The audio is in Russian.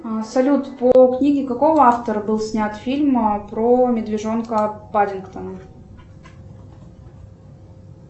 салют по книге какого автора был снят фильм про медвежонка паддингтона